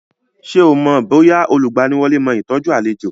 Ṣé o mọ̀ bóyá olùgbaniwọlé mó ìtọ́jú àlejò.